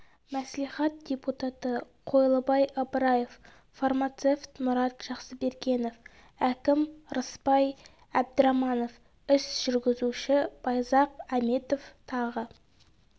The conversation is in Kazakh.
мәслихат депутаты қойлыбай ыбыраев фармацевт мұрат жақсыбергенов әкім рысбай әбдіраманов іс жүргізуші байзақ әметов тағы